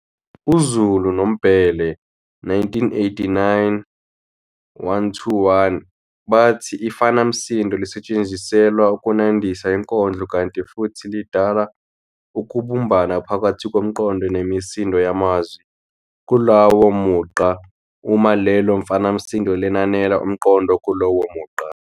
UZulu noMbhele, 1989-121, bathi ifanamsindo lisetshenziselwa ukunandisa inkondlo kanti futhi lidala ukubumbana phakathi komqondo nemisindo yamazwi kulowo mugqa uma lelo fanamsindo lenanela umqondo okulowo mugqa.